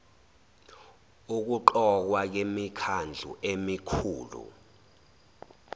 ukuqokwa kwemikhandlu emikhulu